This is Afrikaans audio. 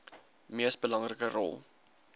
mees belangrike rol